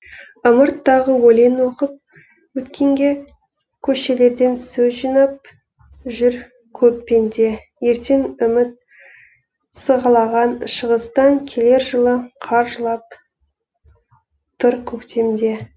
ымырт тағы өлең оқып өткенге көшелерден сөз жинап жүр көп пенде ертең үміт сығалаған шығыстан келер жылы қар жылап тұр көктемде